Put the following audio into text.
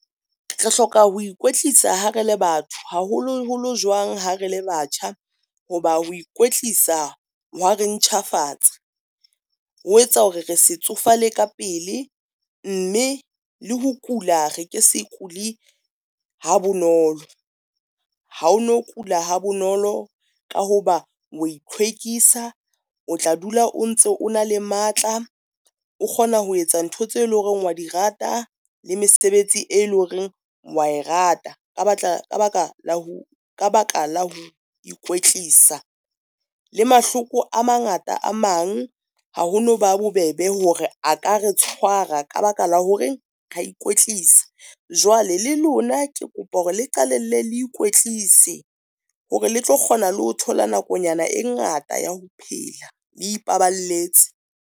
Re hloka ho ikwetlisa ha re le batho haholoholo jwang ha re le batjha, ho ba ho ikwetlisa hwa re ntjhafatsa ho etsa hore re se tsofale ka pele, mme le ho kula re ke se kuli ha bonolo. Ha ono kula ha bonolo ka ho ba o ithlwekisa o tla dula o ntse o na le matla, o kgona ho etsa ntho tseo eleng hore wa di rata, le mesebetsi e le horeng wa e rata. Ka baka la ho ikwetlisa, le mahloko a mangata a mang, ha ho no ba bobebe hore a ka re tshwara ka baka la horeng, ra ikwetlisa. Jwale le lona ke kopa hore le qalelle le ikwetlise hore le tlo kgona le ho thola nakonyana e ngata ya ho phela le ipaballetse.